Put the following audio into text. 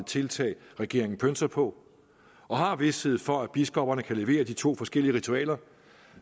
tiltag regeringen pønser på og har vished for at biskopperne kan levere de to forskellige ritualer